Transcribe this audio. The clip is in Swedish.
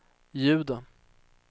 ljudet